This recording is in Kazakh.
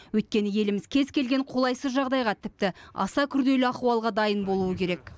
өйткені еліміз кез елген қолайсыз жағдайға тіпті аса күрделі ахуалға дайын болуы керек